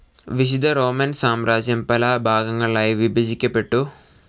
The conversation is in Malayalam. വിശുദ്ധ റോമൻ സാമ്രാജ്യം പലഭാഗങ്ങളായി വിഭജിക്കപ്പെട്ടു.